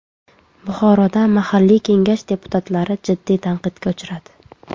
Buxoroda mahalliy Kengash deputatlari jiddiy tanqidga uchradi.